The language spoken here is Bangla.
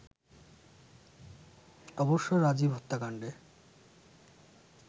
অবশ্য রাজীব হত্যাকাণ্ডে